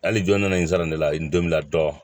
Hali jɔn nana n zani ne la n donmɛna dɔɔni